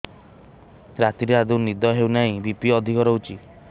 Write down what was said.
ରାତିରେ ଆଦୌ ନିଦ ହେଉ ନାହିଁ ବି.ପି ଅଧିକ ରହୁଛି